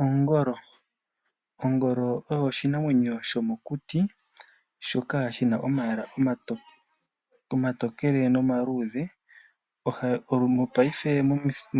Oongolo Ongolo oyo oshinamwenyo shomokuti, shoka shina omayala omatokele nomaluudhe mopayife